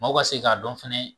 Maaw ka se k'a dɔn fɛnɛ